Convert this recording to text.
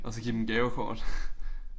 Og så give dem gavekort